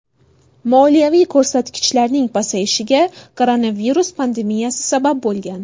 Moliyaviy ko‘rsatkichlarning pasayishiga koronavirus pandemiyasi sabab bo‘lgan.